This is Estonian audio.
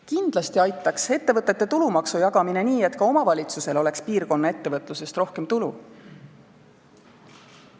Kindlasti aitaks see, kui ettevõtete tulumaksu jagada nii, et ka omavalitsusel oleks piirkonna ettevõtlusest rohkem tulu.